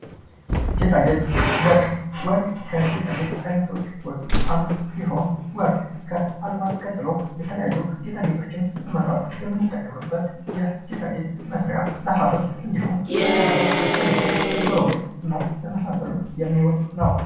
ጌጣጌጥ ወርቅ ፡-ወርቅ ከጌጣጌጥ አይነቶች ውስጥ አንዱ ሲሆን ወርቅ ከአልማዝ ቀጥሎ የተለያዩ ጌጣጌጦችን ለመስራት የምንጠቀምበት ለጌጣጌጥ መስሪያ እንዲሁም ለሃብል ለቀለበት እንዲሁም ለጆሮ ጌጥ እና ለመሳሰሉት የሚውል ነው።